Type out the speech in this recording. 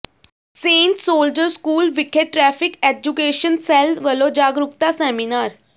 Saint soldier school ਵਿਖੇ traffic education cell ਵੱਲੋਂ ਜਾਗਰੂਕਤਾ ਸੈਮੀਨਾਰ